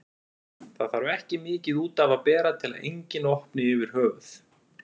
Það þarf ekki mikið út af að bera til að enginn opni yfir höfuð.